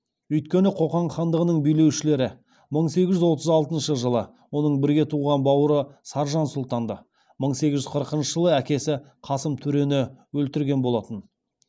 өйткені қоқан хандығының билеушілері мың сегіз жүз қырық алтыншы жылы оның бірге туған бауыры саржан сұлтанды мың сегіз жүз қырықыншы жылы әкесі қасым төрені өлтірген болатын